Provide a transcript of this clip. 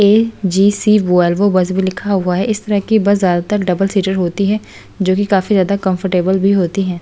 AGC Volvo bus भी लिखा हुआ है इस तरह की बस ज्यादातर डबल-सीटर होती है जो कि काफी ज्यादा कंफर्टेबल भी होती है।